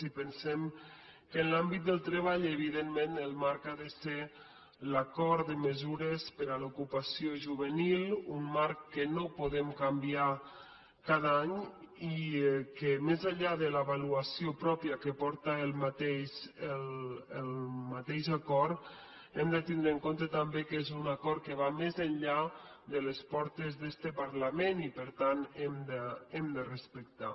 i pensem que en l’àmbit del treball evidentment el marc ha de ser l’acord de mesures per a l’ocupació juvenil un marc que no podem canviar cada any i que més enllà de l’avaluació pròpia que porta el mateix acord hem de tindre en compte també que és un acord que va més enllà de les portes d’este parlament i per tant l’hem de respectar